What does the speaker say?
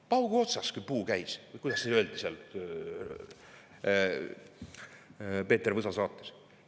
Paugu otsas, kui puu käis, või kuidas öeldi seal Peeter Võsa saates.